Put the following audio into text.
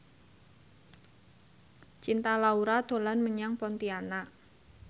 Cinta Laura dolan menyang Pontianak